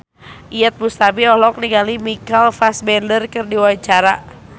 Iyeth Bustami olohok ningali Michael Fassbender keur diwawancara